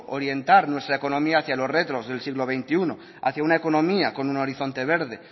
orientar nuestra economía hacia los retos del siglo veintiuno hacia una economía con un horizonte verde